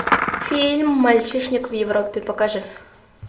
фильм мальчишник в европе покажи